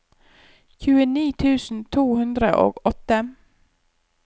tjueni tusen to hundre og åtte